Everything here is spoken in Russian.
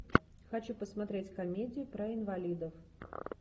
хочу посмотреть комедию про инвалидов